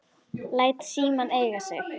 Læt símann eiga sig.